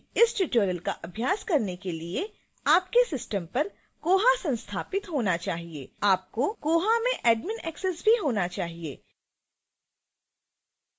इस tutorial का अभ्यास करने के लिए आपके system पर koha संस्थापित होना चाहिए आपको koha में admin एक्सेस भी होना चाहिए